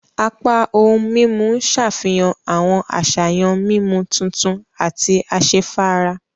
Apá ohùn mímú n ṣàfihàn awọn àṣàyàn mímú tuntun àti asefara.